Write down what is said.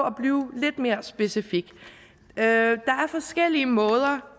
at blive lidt mere specifik der er forskellige måder